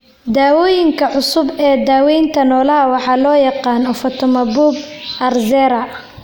Dawooyinka cusub ee daawaynta noolaha waxa loo yaqaan ofatumumab (Arzerra).